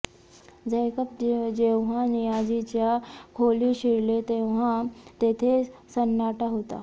Jacob जेव्हा नियाज़ीच्या खोली शिरले तेव्हा तेथे सन्नाटा होता